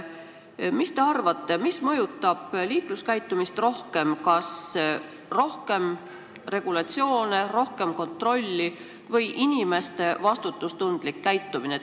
Mis te arvate, mis mõjutab liikluskäitumist rohkem, kas see, kui on rohkem regulatsioone ja kontrolli, või inimeste vastutustundlik käitumine?